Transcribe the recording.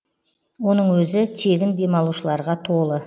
оның өзі тегін демалушыларға толы